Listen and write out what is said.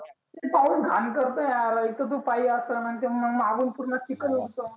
किती पाऊस घान करतो यार एक तर तु पाई असा आणि मग मागुन पुर्ण चिखल उडतो.